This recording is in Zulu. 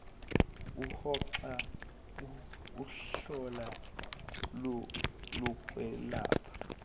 uhoxa kuhlolo lokwelapha